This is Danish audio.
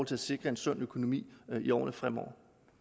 til at sikre en sund økonomi i årene fremover